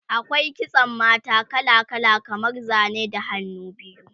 akwai kitsan mata kala kala kamar Zane da hannu biyu